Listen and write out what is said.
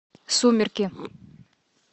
сумерки